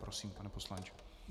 Prosím, pane poslanče.